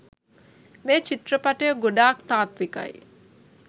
මේ චිත්‍රපටය ගොඩක් තාත්විකයි.